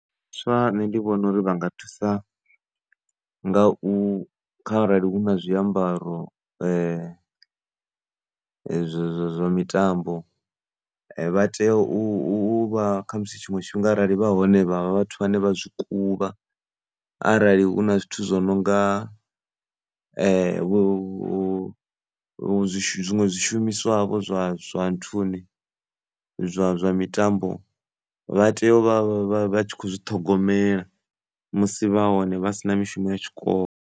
Vhaswa nṋe ndi vhona uri vha nga thusa nga u, kharali hu na zwiambaro zwa mitambo vha tea u vha khamusi tshiṅwe tshifhinga arali vha hone khamusi vha zwi kuvha arali hu na zwithu zwo no nga vho zwiṅwe zwishumiswa vho zwa, zwa nthuni zwa, zwa mitambo vha tea u vha vha kho zwi ṱhogomela musi vha hone vha si na mishumo ya tshikolo.